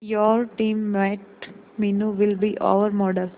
your teammate Meenu will be our model